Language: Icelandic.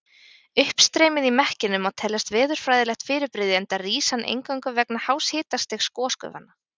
Uppstreymið í mekkinum má teljast veðurfræðilegt fyrirbrigði enda rís hann eingöngu vegna hás hitastigs gosgufanna.